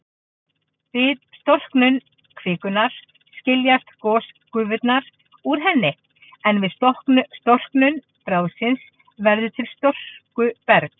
Við storknun kvikunnar skiljast gosgufurnar úr henni, en við storknun bráðsins verður til storkuberg.